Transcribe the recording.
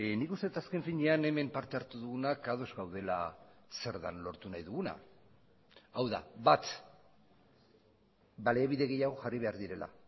nik uste dut azken finean hemen parte hartu dugunak ados gaudela zer den lortu nahi duguna hau da bat baliabide gehiago jarri behar direla